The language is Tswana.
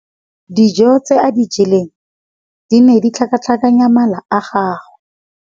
Dijô tse a di jeleng di ne di tlhakatlhakanya mala a gagwe.